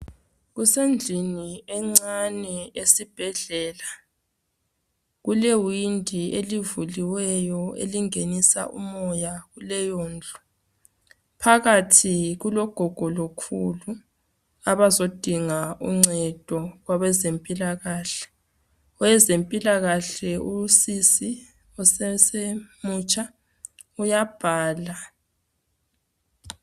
Kusendlini encane esibhedlela. Kule windi elivuliweyo elingenisa umoya kuleyondlu. Phakathi kulogogo lokhulu abazodinga uncedo kwabezempiilakahle. Owezempilakahle usis osesemutsha uyabhala